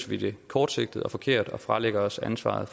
vi det kortsigtet og forkert og fralægger os ansvaret